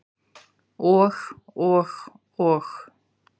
Og, og og.